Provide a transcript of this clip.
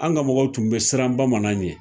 An ka mɔgɔw tun bɛ siran bamanan ɲɛ